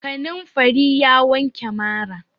Kanamfari ya wanke mara.